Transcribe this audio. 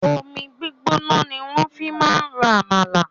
Omi gbígbóná ni wọ́n fi máa ń ro àmàlà.